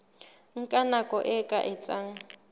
nka nako e ka etsang